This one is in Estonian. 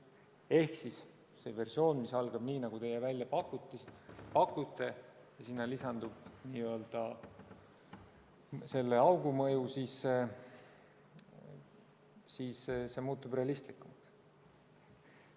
Seega, see versioon, mis algab nii, nagu teie välja pakute, ja sinna lisandub selle augu mõju, muutub realistlikumaks.